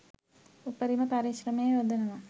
උපරිම පරිශ්‍රමය යොදනව.